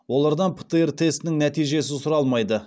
олардан птр тестінің нәтижесі сұралмайды